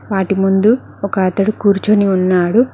వాటి ముందు ఒక అతడు కూర్చొని ఉన్నాడు.